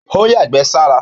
Ó yàgbẹ́ sára.